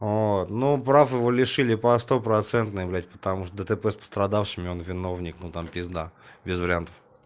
вот ну прав его лишили по стопроцентной блять потому что дтп с пострадавшими он виновник но там пизда без вариантов